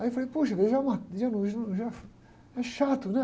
Aí eu falei, poxa, veja lá, é chato, né?